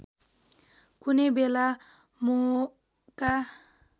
कुनै बेला मोहका